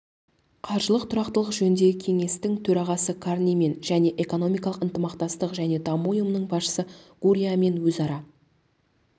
қаржылық тұрақтылық жөніндегі кеңестің төрағасы карнимен және экономикалық ынтымақтастық және даму ұйымының басшысы гурриамен өзара